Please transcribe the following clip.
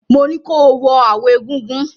Mo ní ko wọ aawo egúngún!